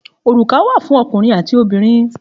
Òrùka wà fún ọkùnrin àti obìnrin.